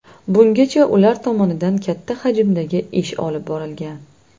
Bungacha ular tomonidan katta hajmdagi ish olib borilgan.